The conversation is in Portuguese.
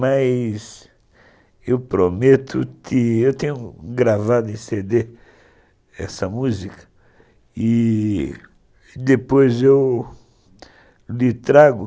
mas eu prometo que eu tenho gravado em cê dê essa música e depois eu lhe trago.